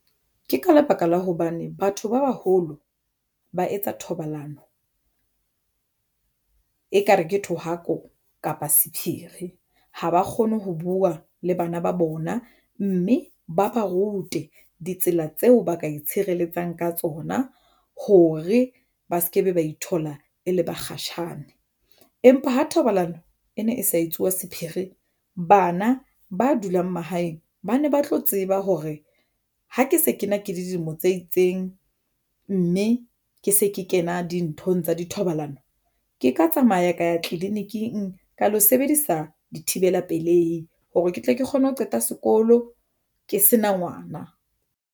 Ke ka lebaka la hobane batho ba baholo ba etsa thobalano ekare ke thohako kapa sephiri ha ba kgone ho buwa le bana ba bona mme ba ba rute ditsela tseo ba ka itshireletsang ka tsona hore ba se ke be ba ithola e le bakgatjhane. Empa ho thobalano e ne e sa etsuwa sephiri bana ba dulang mahaeng ba ne ba tlo tseba hore ha ke se kena le dilemo tse itseng, mme ke se ke kena dinthong tsa dithobalano. Ke ka tsamaya ka ya tleliniking ka lo sebedisa dithibela pelehi hore ke tle ke kgone ho qeta sekolo ke sena ngwana.